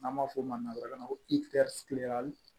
N'an b'a fɔ o ma ko